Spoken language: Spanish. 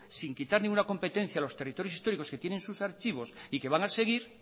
sin quitar ninguna competencia a los territorios históricos que tienen sus archivos y que van a seguir